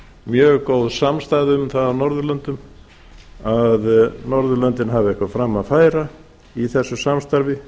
mjög góð samstaða um það á norðurlöndum að norðurlöndin hafi eitthvað fram að færa í best samstarfi